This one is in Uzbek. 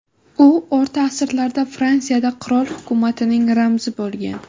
U o‘rta asrlarda Fransiyada qirol hukumatining ramzi bo‘lgan.